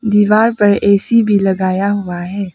दीवार पर ए_सी भी लगाया हुआ है।